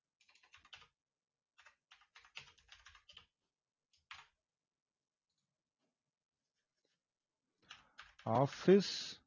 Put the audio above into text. office